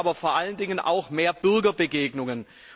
Wir brauchen aber vor allen Dingen auch mehr Bürgerbegegnungen.